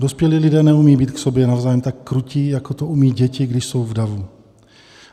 Dospělí lidé neumí být k sobě navzájem tak krutí, jako to umí děti, když jsou v davu.